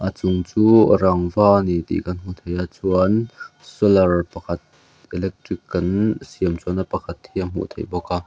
chung chu rangva ani tih kan hmu thei a chuan solar pakhat electric kan siam chhuahna pakhat hi a hmuh theih bawk a.